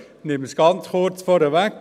Ich nehme ganz kurz vorweg: